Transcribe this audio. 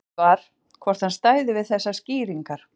Spurt var, hvort hann stæði við þessar skýringar?